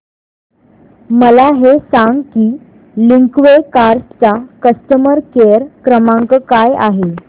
मला हे सांग की लिंकवे कार्स चा कस्टमर केअर क्रमांक काय आहे